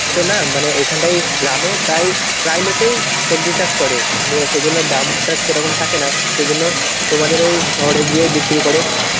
তো না মানে এইখানটায় গ্রামে প্রায় প্রায় লোকেই সবজি চাষ করে. নিয়ে সেই জন্য দামটা সেরকম থাকে না. সেই জন্য তোমাদের ওই শহরে গিয়ে বিক্রি করে.